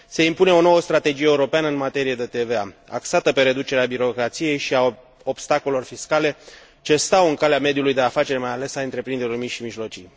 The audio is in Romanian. Se impune o nouă strategie europeană în materie de TVA, axată pe reducerea birocrației și a obstacolelor fiscale ce stau în calea mediului de afaceri, mai ales a întreprinderilor mici și mijlocii.